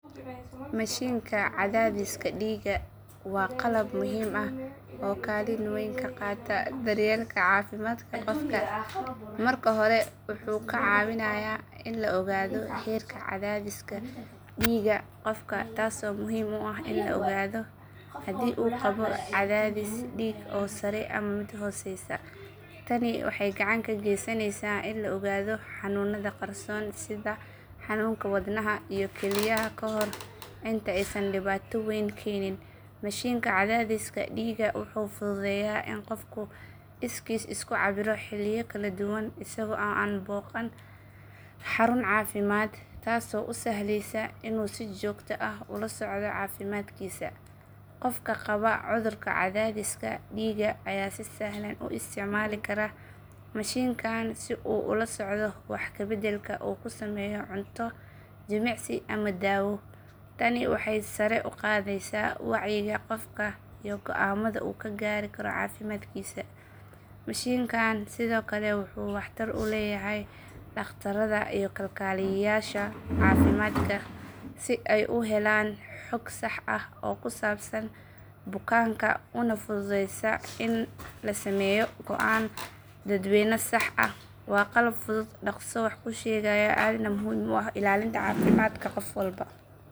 Mashiinka cadaadiska dhiigga waa qalab muhiim ah oo kaalin weyn ka qaata daryeelka caafimaadka qofka. Marka hore wuxuu kaa caawinayaa in la ogaado heerka cadaadiska dhiigga qofka taasoo muhiim u ah in la ogaado haddii uu qabo cadaadis dhiig oo sare ama mid hooseeya. Tani waxay gacan ka geysanaysaa in la ogaado xanuunada qarsoon sida xanuunka wadnaha iyo kelyaha ka hor inta aysan dhibaato weyn keenin. Mashiinka cadaadiska dhiigga wuxuu fududeeyaa in qofku iskiis isu cabbiro xilliyo kala duwan isagoo aan booqan xarun caafimaad taasoo u sahleysa inuu si joogto ah ula socdo caafimaadkiisa. Qofka qaba cudurka cadaadiska dhiigga ayaa si sahlan u isticmaali kara mashiinkan si uu ula socdo wax ka beddelka uu ku sameeyo cunto, jimicsi ama dawo. Tani waxay sare u qaadaysaa wacyiga qofka iyo go’aamada uu ka gaari karo caafimaadkiisa. Mashiinkan sidoo kale wuxuu waxtar u leeyahay dhaqtarada iyo kalkaaliyayaasha caafimaadka si ay u helaan xog sax ah oo ku saabsan bukaanka una fududeysa in la sameeyo go’aan daweyn oo sax ah. Waa qalab fudud, dhaqso wax ku sheegaya, aadna muhiim u ah ilaalinta caafimaadka qof walba.